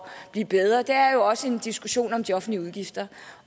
blive bedre er jo også en diskussion om de offentlige udgifter